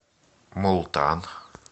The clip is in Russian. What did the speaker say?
мултан